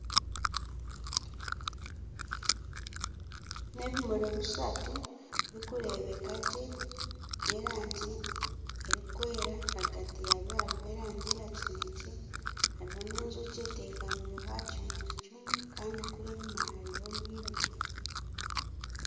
Nebimuri bishatu birikureebeka gye byerangi erikwera ahagati yakyo hariho erangi ya kinekye hariho n'enjoki etekamire aha kimuri kimwe kandi kuri enyima harimu omwirima